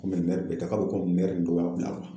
Kɔmi mɛri bɛɛ tɛ k'a bɛ komi mɛri dɔ y'a bila